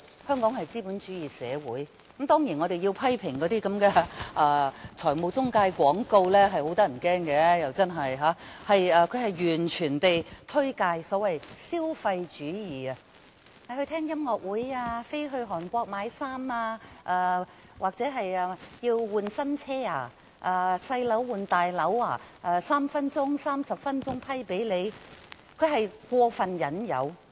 香港是一個資本主義社會，當然，我們要批評那些財務廣告，內容真的相當可怕，完全是推介所謂的消費主義：聽音樂會、飛到韓國買衣服或更換新車、小屋換大屋等 ，3 分鐘或30分鐘便可獲批核貸款，這是過分的引誘。